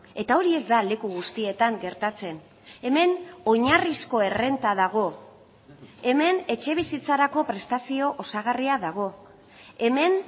eta hori ez da leku guztietan gertatzen hemen oinarrizko errenta dago hemen etxebizitzarako prestazio osagarria dago hemen